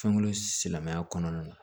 Fɛnko silamɛya kɔnɔna na